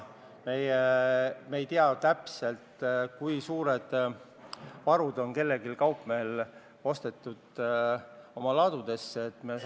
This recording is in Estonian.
Me ei tea täpselt, kui suured varud kaupmeestel oma ladudesse ostetud on.